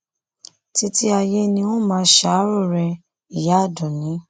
títí ayé ni n óò máa ṣàárò rẹ ìyá àdúnni